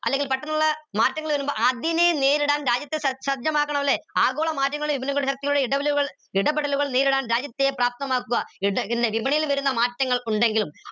അല്ലെങ്കിൽ പെട്ടെന്നുള്ള മാറ്റങ്ങൾ വരുമ്പോ അതിനെ നേരിടാൻ രാജ്യത്തെ സജ്ജമാക്കണം ല്ലേ ആഗോള മാറ്റങ്ങൾ ഇടപെടലുകൾ നേരിടാൻ രാജ്യത്തെ പ്രാപ്തമാക്കുക വിപണിയിൽ വരുന്ന മാറ്റങ്ങൾ ഉണ്ടെങ്കിലും